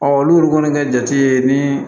olu kɔni ka jate ni